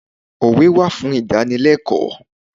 Òwe wà fún ìdánilẹ́kọ̀ọ́.